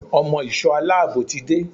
Ọmọ ìsò aláàbò ti dé.